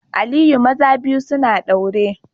Aliyu maza biyu suna daure